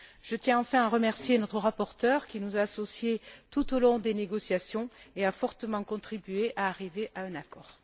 Je tiens enfin à remercier notre rapporteur qui nous a associés tout au long des négociations, et a fortement contribué à ce que nous parvenions à un accord.